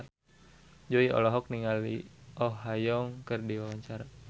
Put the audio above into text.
Jui olohok ningali Oh Ha Young keur diwawancara